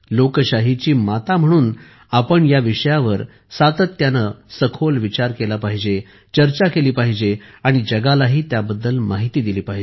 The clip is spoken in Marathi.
लोकशाहीची माता म्हणून आपण या विषयावर सातत्याने सखोल विचार केला पाहिजे चर्चा केली पाहिजे आणि जगालाही त्याबद्दल माहिती दिली पाहिजे